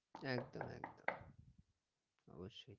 একদম একদম অবশ্যই